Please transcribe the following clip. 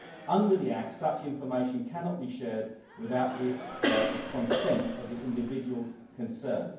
Under the Act, such information cannot be shared without the consent of the individuals concerned.